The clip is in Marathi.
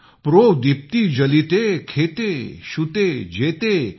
प्रोदीप्ती जालिते खेते शुते जेते ।